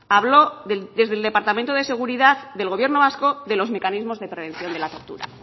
habló desde el departamento de seguridad del gobierno vasco de los mecanismos de prevención de la tortura